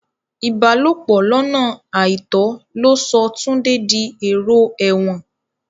Ìbálòpò lọ́nà àìtọ́ ló sọ Túndé di ẹ̀rò èrò ẹ̀wọ̀n